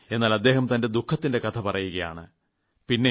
എന്നാൽ അദ്ദേഹം തന്റെ ദുഖത്തിന്റെ കഥപറയുകാണ് പിന്നെ